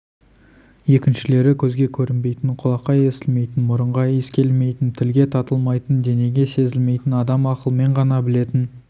екіншілері көзге көрінбейтін құлаққа естілмейтін мұрынға иіс келмейтін тілге татылмайтын денеге сезілмейтін адам ақылмен ғана білетін